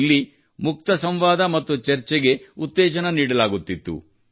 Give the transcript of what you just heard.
ಇಲ್ಲಿ ಮುಕ್ತ ಸಂವಾದ ಮತ್ತು ಚರ್ಚೆಗೆ ಉತ್ತೇಜನ ನೀಡಲಾಗುತ್ತಿತ್ತು